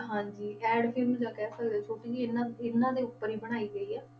ਹਾਂਜੀ ad film ਜਾਂ ਕਹਿ ਸਕਦੇ ਹਾਂ ਛੋਟੀ ਜਿਹੀ ਹਨਾ, ਇਹਨਾਂ ਦੇ ਉੱਪਰ ਹੀ ਬਣਾਈ ਗਈ ਆ।